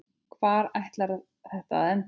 Hvar ætlaði þetta að enda?